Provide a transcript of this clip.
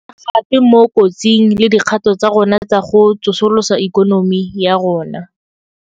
Re baya gape mo kotsing le dikgato tsa rona tsa go tso solosa ikonomi ya rona.